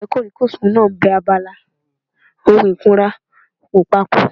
Àwọn ọ̀rẹ́ kòríkòsùn náà bẹ abala ohun ìkunra wò papọ̀